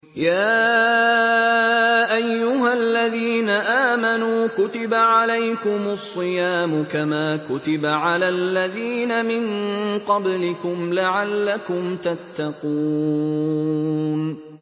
يَا أَيُّهَا الَّذِينَ آمَنُوا كُتِبَ عَلَيْكُمُ الصِّيَامُ كَمَا كُتِبَ عَلَى الَّذِينَ مِن قَبْلِكُمْ لَعَلَّكُمْ تَتَّقُونَ